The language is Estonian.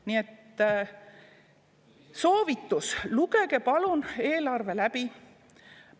Nii et soovitus: lugege palun eelarve läbi!